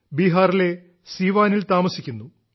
ബീഹാറിലെ സീവാനിൽ താമസിക്കുന്നു